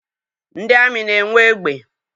Ndị amị na-enwe egbe